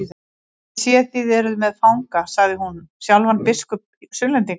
Ég sé þið eruð með fanga, sagði hún, sjálfan biskup Sunnlendinga.